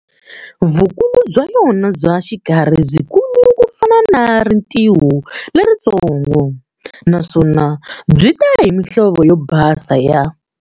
Vukulu bya yona bya xikarhi byikulu kufana na rintiho lerintsongo, naswona byita hi mihlovo yo basa ya.